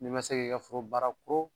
Ni ma se ki ka foro bara